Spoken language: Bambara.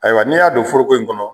Ayiwa n'i y'a don fororoko in kɔnɔ